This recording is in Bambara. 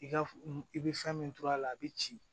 I ka i bɛ fɛn min to a la a bɛ ci